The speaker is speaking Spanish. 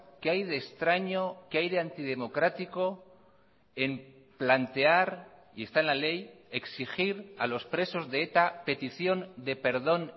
qué hay de extraño qué hay de antidemocrático en plantear y esta en la ley exigir a los presos de eta petición de perdón